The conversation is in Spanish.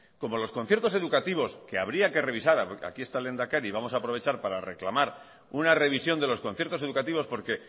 como los conciertos educativos que habría que revisar aquí está el lehendakari y vamos a aprovechar para reclamar una revisión de los conciertos educativos porque